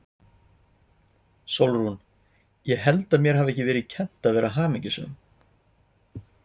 SÓLRÚN: Ég held að mér hafi ekki verið kennt að vera hamingjusöm.